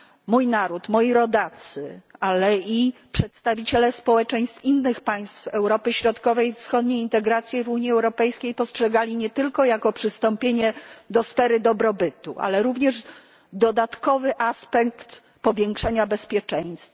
Mój naród, moi rodacy, ale i przedstawiciele społeczeństw innych państw Europy Środkowej i Wschodniej integrację w Unii Europejskiej postrzegali nie tylko jako przystąpienie do sfery dobrobytu, ale również dodatkowy aspekt powiększenia bezpieczeństwa.